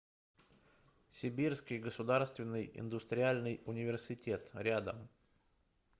сибирский государственный индустриальный университет рядом